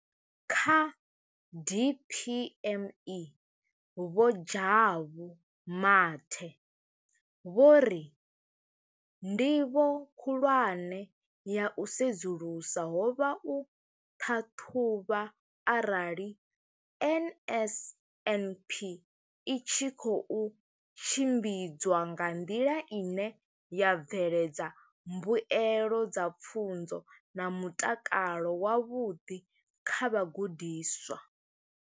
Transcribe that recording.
Kha DPME, Vho Jabu Mathe, vho ri ndivho khulwane ya u sedzulusa ho vha u ṱhaṱhuvha arali NSNP i tshi khou tshimbidzwa nga nḓila ine ya bveledza mbuelo dza pfunzo na mutakalo wavhuḓi kha vhagudiswa.